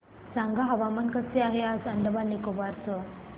सांगा हवामान कसे आहे आज अंदमान आणि निकोबार चे